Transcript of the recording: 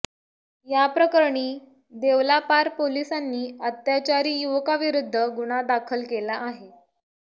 या प्रकरणी देवलापार पोलिसांनी अत्याचारी युवकाविरुद्ध गुन्हा दाखल केला आहे